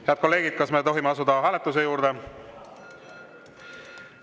Head kolleegid, kas me tohime asuda hääletuse juurde?